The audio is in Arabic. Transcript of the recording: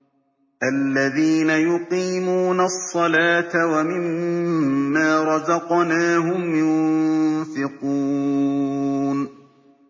الَّذِينَ يُقِيمُونَ الصَّلَاةَ وَمِمَّا رَزَقْنَاهُمْ يُنفِقُونَ